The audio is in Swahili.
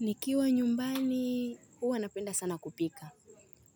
Nikiwa nyumbani, huwa napenda sana kupika.